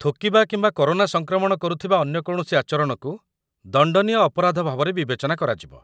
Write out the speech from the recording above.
ଥୁକିବା କିମ୍ବା କରୋନା ସଂକ୍ରମଣ କରୁଥିବା ଅନ୍ୟ କୌଣସି ଆଚରଣକୁ ଦଣ୍ଡନୀୟ ଅପରାଧ ଭାବରେ ବିବେଚନା କରାଯିବ